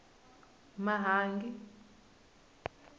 mahangi